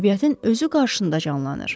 Təbiətin özü qarşında canlanır.